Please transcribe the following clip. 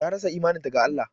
Ta rasa imaninta ga Allah